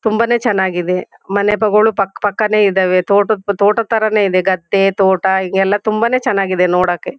ತುಂಬಾನೇ ಚನಾಗಿದೆ ಮನೆಗಳು ಪಕ್ ಪಕ್ಕ ನೇ ಇದಾವೆ. ತೋಟದ್ ತೋಟದ್ ಥರ ನೇ ಇದೆ ಗದ್ದೆ ತೋಟ ಹೀಗೆಲ್ಲಾ ತುಂಬಾ ನೇ ಚೆನ್ನಾಗಿದೆ ನೋಡಕ್ಕೆ.